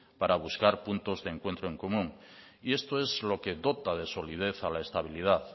para buscar puntos de encuentro en común y esto es lo que dota de solidez a la estabilidad